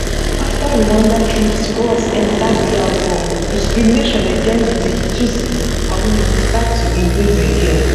afta rwanda troops cross enta dr congo discrimination against di tutsi community start to increase again